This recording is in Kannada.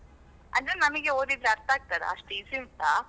ಅಂದ್ರೆ ನಮಗೆ ಓದಿದ್ ಅರ್ಥ ಆಗ್ತದಾ? ಅಷ್ಟ್ easy ಉಂಟಾ?